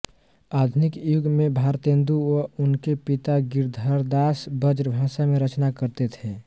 आधुनिक युग में भारतेन्दु व उनके पिता गिरधरदास ब्रजभाषा में रचना करते थे